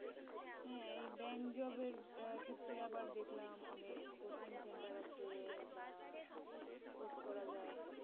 হ্যা এই bank job এর ক্ষেত্রে আবার দেখলাম অনেক coaching center আছে বা course করা যায়